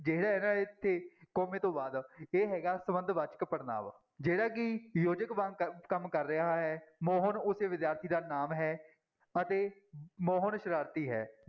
ਜਿਹੜਾ ਹੈਗਾ ਇੱਥੇ ਕੋਮੇ ਤੋਂ ਬਾਅਦ, ਇਹ ਹੈਗਾ ਸੰਬੰਧ ਵਾਚਕ ਪੜ੍ਹਨਾਂਵ ਜਿਹੜਾ ਕਿ ਯੋਜਕ ਵਾਂਗ ਕ ਕੰਮ ਕਰ ਰਿਹਾ ਹੈ, ਮੋਹਨ ਉਸੇ ਵਿਦਿਆਰਥੀ ਦਾ ਨਾਮ ਹੈ ਅਤੇ ਮੋਹਨ ਸਰਾਰਤੀ ਹੈ।